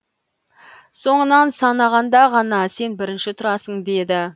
соңынан санағанда ғана сен бірінші тұрасың деді